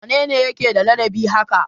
Wane ne yake da ladabi haka?